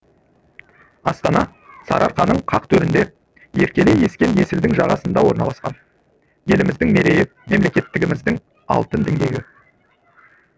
астана сарыарқаның қақ төрінде еркелей ескен есілдің жағасында орналасқан еліміздің мерейі мемлекеттігіміздің алтын діңгегі